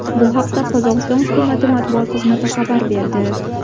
Bu haqda Qozog‘iston hukumati matbuot xizmati xabar berdi .